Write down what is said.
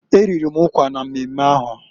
E riri m ụkwa na mmemme ahụ.